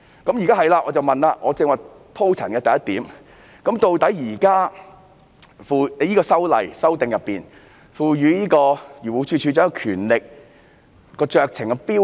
我現在想問，就我剛才鋪陳的第一點，究竟《條例草案》賦予漁護署署長怎樣的酌情標準？